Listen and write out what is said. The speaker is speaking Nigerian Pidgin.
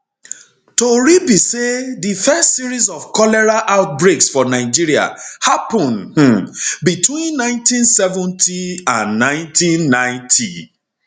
tori be say di first series of cholera outbreaks for nigeria happun um between 1970 and 1990